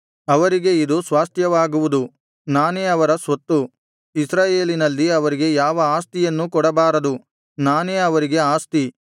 ಅವರಿಗೆ ಇದು ಸ್ವಾಸ್ತ್ಯವಾಗುವುದು ನಾನೇ ಅವರ ಸ್ವತ್ತು ಇಸ್ರಾಯೇಲಿನಲ್ಲಿ ಅವರಿಗೆ ಯಾವ ಆಸ್ತಿಯನ್ನೂ ಕೊಡಬಾರದು ನಾನೇ ಅವರಿಗೆ ಆಸ್ತಿ